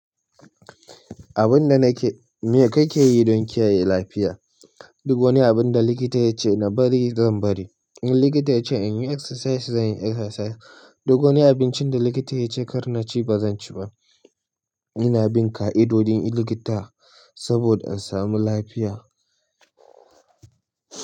Abin da nake, me kake yi don kiyaye lafiya? Duk wani abin da likita yace na bari zan bari. In likita yace in yi exercise, zan yi exercise. Duk wani abincin da likita yace kar na ci, ba zan ci ba. Ina bin ƙa'idodin likita saboda in samu lafiya.